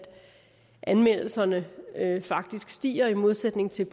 anmeldelserne faktisk stiger i modsætning til